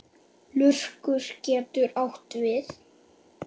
Lurkur getur átt við